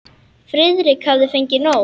Friðrik hafði fengið nóg.